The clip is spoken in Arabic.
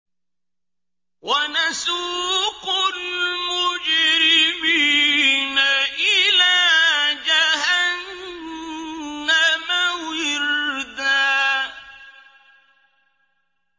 وَنَسُوقُ الْمُجْرِمِينَ إِلَىٰ جَهَنَّمَ وِرْدًا